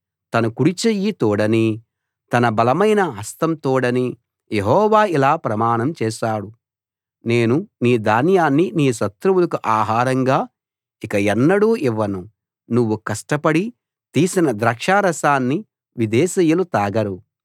తన కుడి చెయ్యి తోడనీ తన బలమైన హస్తం తోడనీ యెహోవా ఇలా ప్రమాణం చేశాడు నేను నీ ధాన్యాన్ని నీ శత్రువులకు ఆహారంగా ఇక ఎన్నడూ ఇవ్వను నువ్వు కష్టపడి తీసిన ద్రాక్షారసాన్ని విదేశీయులు తాగరు